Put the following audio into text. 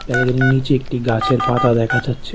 বেলাকেনির নীচে একটি গাছের পাতা দেখা যাচ্ছে।